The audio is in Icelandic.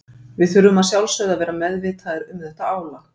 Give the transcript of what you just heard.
Við þurfum að sjálfsögðu að vera meðvitaðir um þetta álag.